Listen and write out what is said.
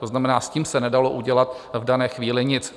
To znamená, s tím se nedalo udělat v dané chvíli nic.